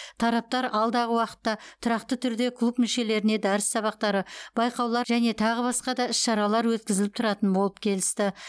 тараптар алдағы уақытта тұрақты түрде клуб мүшелеріне дәріс сабақтары байқаулар және тағы басқа да іс шаралар өткізіліп тұратын болып келісті